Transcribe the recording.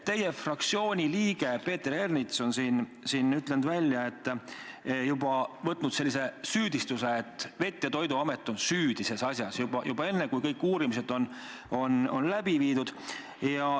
Teie fraktsiooni liige Peeter Ernits on öelnud välja, võtnud sellise süüdistava hoiaku, et Veterinaar- ja Toiduamet on selles asjas süüdi, juba enne, kui kõik uurimised on läbi viidud.